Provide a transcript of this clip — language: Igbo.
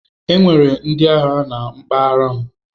Enwere ndị agha na mpaghara m.